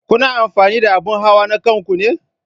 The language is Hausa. Kuna amfani da abun hawa na kanku ne?